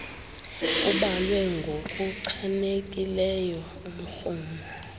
kubalwe ngokuchanekileyo umrhumo